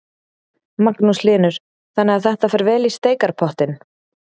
Magnús Hlynur: Þannig að þetta fer vel í steikarpottinn?